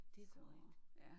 Det er korrekt